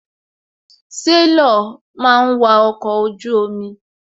Sélọ̀ máa ń wa ọkọ̀ ojú omi.